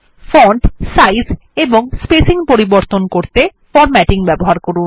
font size এবং spacing পরিবর্তন করতে ফরম্যাটিং ব্যবহার করুন